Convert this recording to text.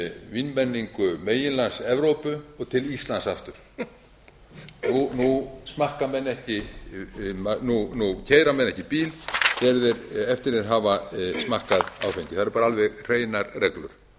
vínmenningu meginlands evrópu og til íslands aftur nú keyra menn ekki bíl eftir að þeir hafa smakkað áfengi það eru bara alveg hreinar